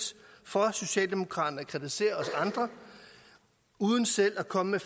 for socialdemokraterne at kritisere os andre uden selv at komme med